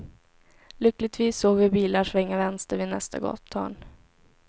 Lyckligtvis såg vi bilar svänga vänster vid nästa gathörn.